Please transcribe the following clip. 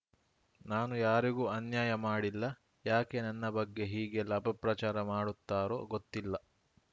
ನಾನು ಯಾರಿಗೂ ಅನ್ಯಾಯ ಮಾಡಿಲ್ಲ ಯಾಕೆ ನನ್ನ ಬಗ್ಗೆ ಹೀಗೆಲ್ಲ ಅಪಪ್ರಚಾರ ಮಾಡುತ್ತಾರೋ ಗೊತ್ತಿಲ್ಲ